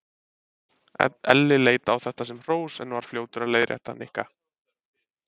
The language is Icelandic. Elli leit á þetta sem hrós en var fljótur að leiðrétta Nikka.